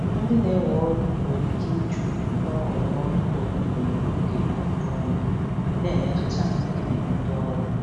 Ndị na-ewe ọrụ nwere ike ịjụ mgbanwe ọrụ ugboro ugboro n'oge ajụjụ ọnụ, na-emetụta mkpebi ndị ọrụ.